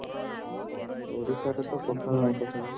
ଓଡିଶାରେ ତ କେବଳ ଆଇଁଶ ଖାଇବ